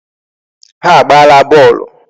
Ha agbaala bọọlụ.